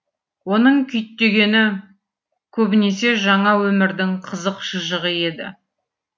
оның күйттегені көбінесе жаңа өмірдің қызық шыжығы еді